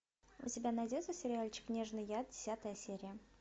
у тебя найдется сериальчик нежный яд десятая серия